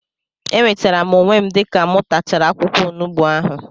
Enwetere m onwe m dịka mụ tachara akwụkwọ onugbu ahụ